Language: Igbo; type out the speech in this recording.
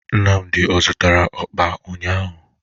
Nnamdị ọ zụtara ụkpa ụnyaahụ?